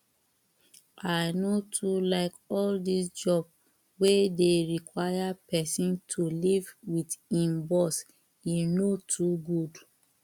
i no too like all dis job wey dey require person to live with im boss e no too good